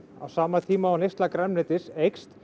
á sama tíma og neysla grænmetis eykst